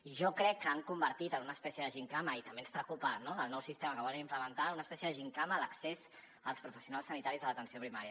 i jo crec que han convertit en una espècie de gimcana i també ens preocupa no el nou sistema que volen implementar en una espècie de gimcana a l’accés als professionals sanitaris de l’atenció primària